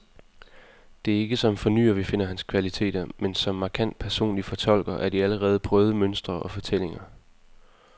Det er ikke som fornyer, vi finder hans kvaliteter, men som markant personlig fortolker af de allerede prøvede mønstre og fortællinger.